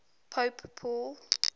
pope paul